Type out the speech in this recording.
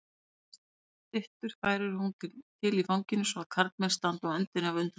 Marmarastyttur færir hún til í fanginu svo að karlmenn standa á öndinni af undrun.